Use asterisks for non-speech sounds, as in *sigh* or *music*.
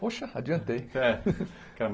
Poxa, adiantei. É *laughs*